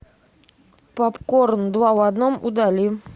попкорн два в одном удали